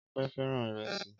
Ọpẹ́ fẹ́ràn ìrẹsì.